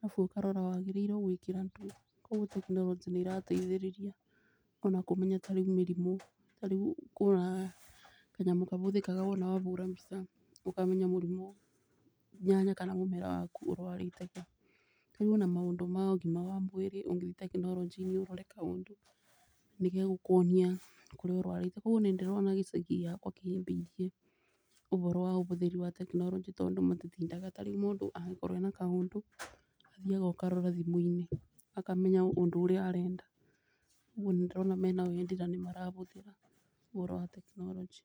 arabu ũkarora wagĩrĩirwo gwĩkĩra ndũ. Koguo tekinoronjĩ nĩ ĩrateithĩrĩria ona kũmenya tarĩu mĩrimũ. Tarĩu ũkoraga kanyamũ karabũthĩka wona wahũra mbica ũkamenya mũrimũ nyanya kana mũmera waku ĩrwarĩte kũ. Tarĩu ona maũndũ ma ũgima wa mwĩrĩ ũngĩ thiĩ tekinoronjĩ-inĩ ũrore kaũndũ nĩ gegũkuonia kũrĩa ũrwarĩte. Koguo nĩ ndĩrona gĩcagi gĩakwa kĩhĩmbĩirie ũboro wa ũbũthiri wa tekinoronjĩ tondũ andũ matitindaga tarĩu mũndũ angĩkorwo ena kaũndũ ũthiaga ũkarora thimũ-inĩ, akamenya ũndũ ũrĩa arenda nĩma nĩ ndĩrona mena wendi na nĩ marabũthĩra ũboro wa tekinoronjĩ.